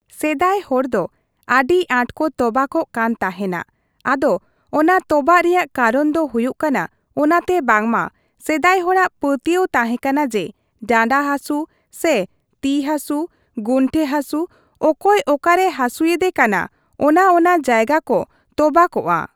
ᱥᱮᱫᱟᱭ ᱦᱚᱲᱫᱚ ᱟᱹᱰᱤ ᱟᱴ ᱠᱚ ᱛᱚᱵᱟᱠᱚᱜ ᱠᱟᱱ ᱛᱟᱦᱮᱱᱟᱠᱚ ᱟᱫᱚ ᱚᱱᱟ ᱛᱚᱵᱟᱜ ᱨᱮᱭᱟᱜ ᱠᱟᱨᱚᱱ ᱫᱚ ᱦᱩᱭᱩᱜ ᱠᱟᱱᱟ ᱚᱱᱟᱛᱮ ᱵᱟᱝᱢᱟ ᱥᱮᱫᱟᱭ ᱦᱚᱲᱟᱜ ᱯᱟᱹᱛᱭᱟᱹᱣ ᱛᱟᱦᱮᱸ ᱠᱟᱱᱟ ᱡᱮ ᱰᱟᱸᱰᱟ ᱦᱟᱥᱩ ᱥᱮ ᱛᱤ ᱦᱟᱥᱩ ᱜᱩᱱᱴᱷᱮ ᱦᱟᱥᱩ ᱚᱠᱚᱭ ᱚᱠᱟᱨᱮ ᱦᱟᱥᱩᱭᱮᱫᱮ ᱠᱟᱱᱟ ᱚᱱᱟ ᱚᱱᱟ ᱡᱟᱭᱜᱟ ᱠᱚ ᱛᱚᱵᱟᱠᱚᱜᱼᱟ ᱾